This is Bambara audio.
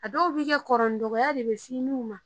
A dɔw bi kɛ dɔrɔ ni dɔgɔya de be s'i n'u ma